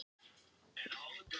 Ung þjóð